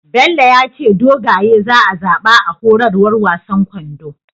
Bello yace dogaye za a zaba a horarwar wasan kwando